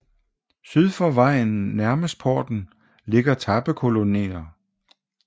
Syd for vejen nærmest porten ligger tappekolonnerne